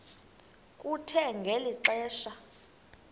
kuthe ngeli xesha